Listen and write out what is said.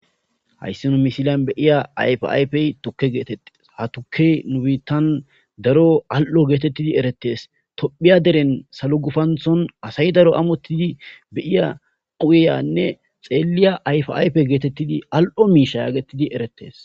hayssi nu misilan be'iya ayfayfey tukke geetettis ha tuke nubiittan daro al7o geetettidi eretes tophiya deren salo gufanthon asay daro amottidi beyiya quuyeyanne xeeliya ayf7aype geetettidi al7o miisha yaagettidi erettees